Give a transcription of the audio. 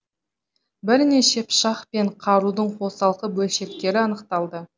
бірнеше пышақ пен қарудың қосалқы бөлшектері анықталды